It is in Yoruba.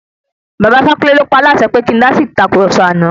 Bàba Ifákúnle ló paálàsẹ pé kí ń dásí ìtàkurọ̀sọ àná.